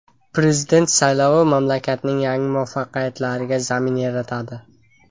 Prezident saylovi mamlakatning yangi muvaffaqiyatlariga zamin yaratadi”.